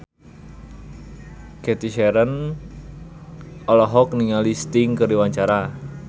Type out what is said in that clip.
Cathy Sharon olohok ningali Sting keur diwawancara